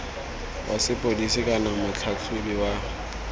wa sepodisi kana motlhatlhaobi wa